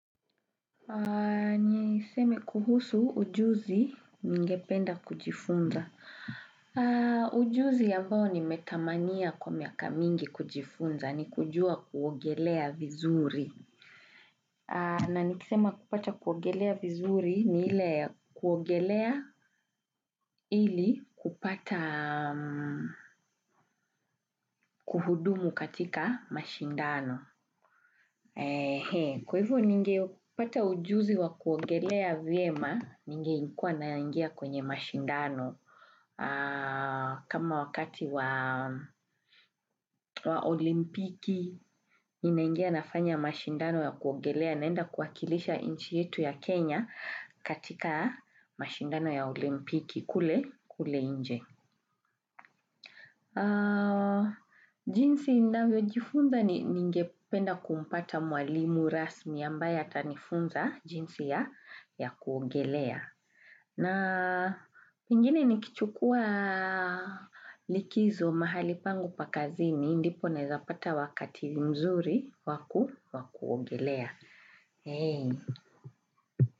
Ni seme kuhusu ujuzi ningependa kujifunza. Ujuzi ambao nimetamania kwa miaka mingi kujifunza ni kujua kuogelea vizuri. Na nikisema kupata kuogelea vizuri ni hile kuogelea ilikupata kuhudumu katika mashindano. Kwa hivyo ningeupata ujuzi wa kuongelea vyema ningekuwa naingia kwenye mashindano kama wakati wa olimpiki ina ingia nafanya mashindano ya kuongelea naenda kuakilisha nchi yetu ya Kenya katika mashindano ya olimpiki kule kule nje. Jinsi navyo jifunda ni ngependa kumpata mwalimu rasmi ambaye atanifunza jinsi ya kuogelea. Na pengine nikichukua likizo mahali pangu pakazini ndipo nawezapata wakati mzuri waku wakuogelea.